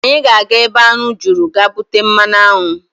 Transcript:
Anyị ga-aga ebe aṅụ juru ga bute mmanụaṅụ.